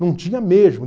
Não tinha mesmo.